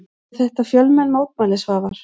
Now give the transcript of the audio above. Voru þetta fjölmenn mótmæli Svavar?